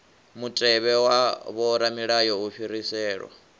mutevhe wa vhoramilayo u fhiriselwa